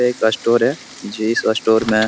एक स्टोर जिस स्टोर में --